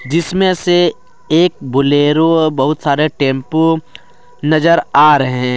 जिसमें से एक बोलेरो और बहुत सारे टेंपो नजर आ रहे हैं।